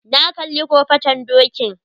Na kalli kofaton dokin